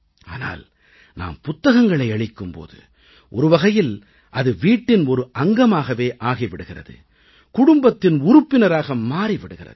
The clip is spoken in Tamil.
ஆனால் நாம் புத்தகங்களை அளிக்கும் போது ஒரு வகையில் அது வீட்டின் ஒரு அங்கமாகவே ஆகி விடுகிறது குடும்பத்தின் உறுப்பினராக மாறி விடுகிறது